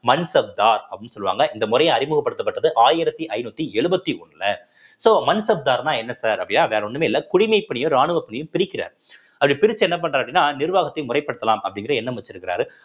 மன்சப்தார் அப்படின்னு சொல்லுவாங்க இந்த முறைய அறிமுகப்படுத்தப்பட்டது ஆயிரத்தி ஐந்நூத்தி எழுபத்தி ஒண்ணுல so மன்சப்தார்ன்னா என்ன sir அப்படின்னா வேற ஒண்ணுமே இல்ல குடிமைப்பணியும் ராணுவ பணியும் பிரிக்கிறார் அப்படி பிரிச்சு என்ன பண்றாரு அப்படின்னா நிர்வாகத்தை முறைப்படுத்தலாம் அப்படிங்கிற எண்ணம் வச்சிருக்காரு